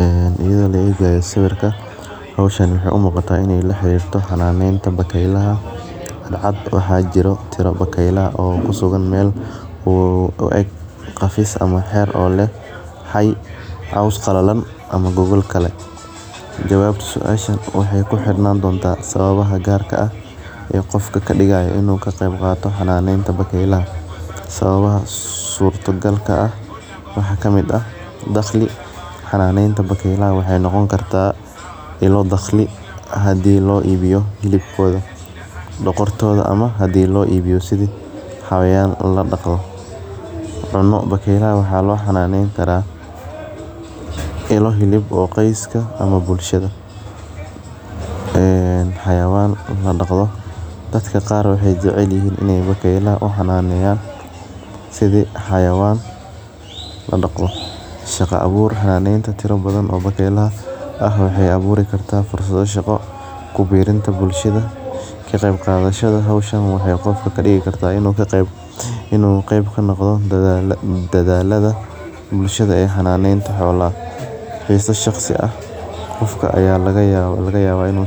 Ee laegayo sawirka hoshan waxee u muqata in ee laxirirto calamenta bakeylaha waxaa jiro tiro bakeylo oo kusugan meel qafis ah ama heer oo leh cos qalalan ama gogol kale jawabta suashan waxee ku xirnan kartaa qofka kadigayo xananeta bakeylaa sawbabaha garka ah waxaa kamiid ah daqli xananeta bakeylaha waxaa kamiid ah in lo daqliyo hadii lo ibiyo hilibkodha dogortodha hadii lo ibiyo sitha xayawan ladaqdo bakeylaha waxa lo xananeyn karaa ilo hilib oo koska ee xayawan ladaqo dadka qar waxee jecelyihin in ee u daqdan bakeylaha sitha xayawan ladaqo shaqo abur waxee aburi kartaa fursadho shaqo kuberinta bulshaada kaqeb kadashada hoshan waxee kadigi kartaa in u qeb kanoqdo xisa shaqsi ah qofka aya lagayawa in u